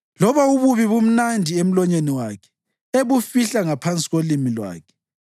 Loba ububi bumnandi emlonyeni wakhe, ebufihla ngaphansi kolimi lwakhe,